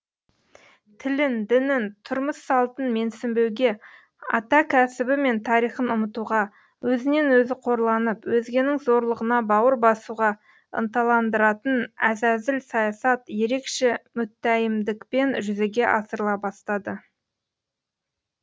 тілін дінін тұрмыс салтын менсінбеуге ата кәсібі мен тарихын ұмытуға өзінен өзі қорланып өзгенің зорлығына бауыр басуға ынталандыратын әзәзіл саясат ерекше мүттәйімдікпен жүзеге асырыла бастады